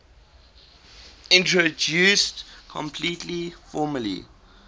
introduced completely formally